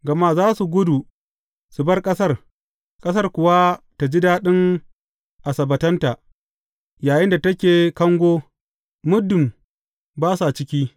Gama za su gudu su bar ƙasar, ƙasar kuwa ta ji daɗin asabbatanta yayinda take kango muddin ba su ciki.